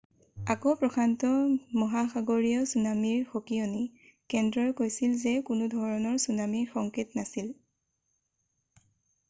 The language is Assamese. আকৌ প্ৰশান্ত মহাসগৰীয় চুনামিৰ সকীয়নি কেন্দ্ৰই কৈছিল যে কোনোধৰণৰ চুনামিৰ সংকেত নাছিল